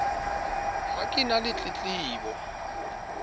ha ke na le tletlebo